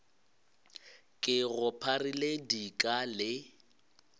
ke go pharile dika le